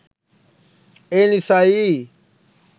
ඒ නිසයි.